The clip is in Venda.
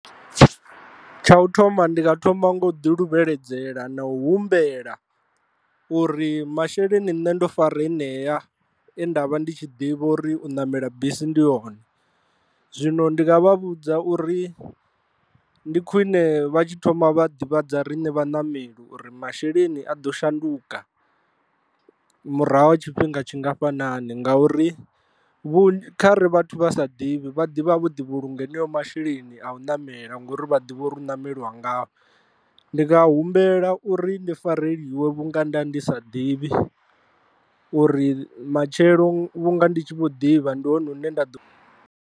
Tsha u thoma ndi nga thoma nga u ḓi luvheledzela na u humbela uri masheleni nṋe ndo fara heṋea e nda vha ndi tshi ḓivha uri u ṋamela bisi ndi one, zwino ndi nga vha vhudza uri ndi khwine vha tshi thoma vha ḓivhadza riṋe vhaṋameli uri masheleni a ḓo shanduka murahu ha tshifhinga tshingafhanani ngauri kha ri vhathu vha sa ḓivhi vha ḓivha vho ḓi vhulunga masheleni a u namela ngori vha ḓivhe uri hu nameliwa ngayo. Ndi nga humbela uri ndi fareliwe vhunga nda ndi sa ḓivhi uri matshelo vhunga ndi tshi vho ḓivha ndi hone hune nda ḓo.